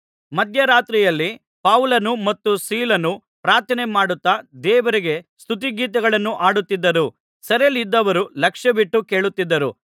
ಮಧ್ಯರಾತ್ರಿಯಲ್ಲಿ ಪೌಲನೂ ಮತ್ತು ಸೀಲನೂ ಪ್ರಾರ್ಥನೆಮಾಡುತ್ತಾ ದೇವರಿಗೆ ಸ್ತುತಿಗೀತೆಗಳನ್ನು ಹಾಡುತ್ತಿದ್ದರು ಸೆರೆಯಲ್ಲಿದ್ದವರು ಲಕ್ಷ್ಯವಿಟ್ಟು ಕೇಳುತ್ತಿದ್ದರು